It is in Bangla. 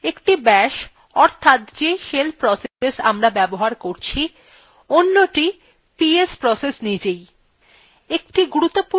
একটি bash অর্থাৎ যে shell process আমরা ব্যবহার করছি অন্যটি ps process নিজেই